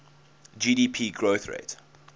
gdp growth rate